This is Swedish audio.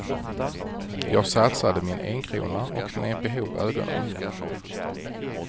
Jag satsade min enkrona och knep ihop ögonen.